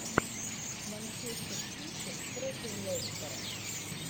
манчестер сити против лестера